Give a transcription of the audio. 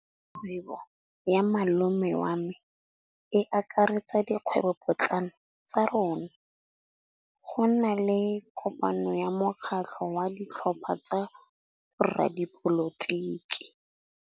Kgwêbô ya malome wa me e akaretsa dikgwêbôpotlana tsa rona. Go na le kopanô ya mokgatlhô wa ditlhopha tsa boradipolotiki.